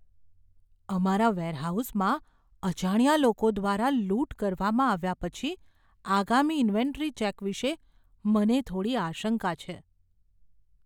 અમારા વેરહાઉસમાં અજાણ્યા લોકો દ્વારા લૂંટ કરવામાં આવ્યા પછી આગામી ઇન્વેન્ટરી ચેક વિશે મને થોડી આશંકા છે.